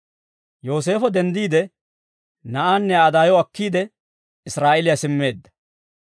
Yooseefo denddiide, na'aanne Aa daayo akkiide, Israa'eeliyaa simmeedda.